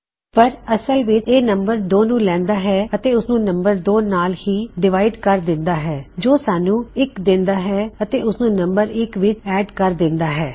ਪਰ ਅਸਲ ਵਿੱਚ ਇਹ ਨੰਮ2 ਨੂੰ ਲੈੰਦਾ ਹੈ ਅਤੇ ਉਸਨੂੰ ਨੰਮ2 ਨਾਲ ਹੀ ਡਿਵਾਇਡ ਕਰ ਦਿੰਦਾ ਹੈ ਜੋ ਸਾਨੂੰ 1 ਦਿੰਦਾ ਹੈ ਅਤੇ ਓਸਨੂੰ ਨੰਮ1 ਵਿੱਚ ਐੱਡ ਕਰ ਦਿੰਦਾ ਹੈ